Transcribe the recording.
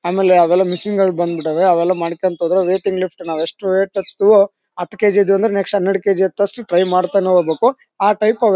ಆಮೇಲೆ ಅವೆಲ್ಲಾ ಮಿಷನ್ ಗಳು ಬಂದ್ಬಿಟವೇ. ಅವೆಲ್ಲ ಮಾಡ್ಕೊಳ್ತಾ ಹೋದ್ರೆ ವೈಟಿಂಗ್ ಲಿಫ್ಟ್ ನಾವು ಎಷ್ಟು ವೇಟ್ ಇರ್ತೀವೋ ಹತ್ತ್ ಕೆಜಿ ಇದ್ವಿ ಅಂದ್ರೆ ನೆಕ್ಸ್ಟ್ ಹನ್ನೆರಡು ಕೆಜಿ ಎತ್ತೊವಷ್ಟೋ ಟ್ರೈ ಮಾಡ್ತಾನೆ ಹೋಗ್ಬೇಕು. ಆ ಟೈಪ್ --